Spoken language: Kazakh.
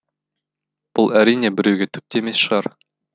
бұл әрине біреуге түк те емес шығар